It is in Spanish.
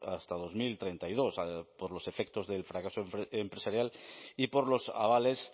hasta dos mil treinta y dos por los efectos del fracaso empresarial y por los avales